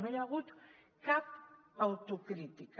no hi ha hagut cap autocrítica